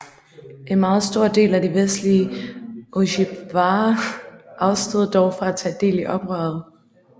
En meget stor del af de vestlige ojibwaer afstod dog fra at tage del i oprøret